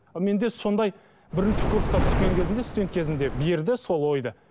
менде сондай бірінші курсқа түскен кезінде студент кезімде берді сол ойды